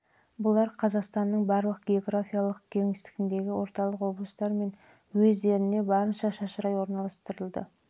бұлар қазақстанның барлық географиялық кеңістігіндегі орталық облыстар мен уездеріне барынша шашырай орналастырылды